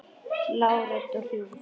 Lág rödd og hrjúf.